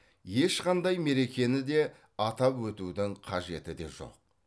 ешқандай мерекені де атап өтудің қажеті де жоқ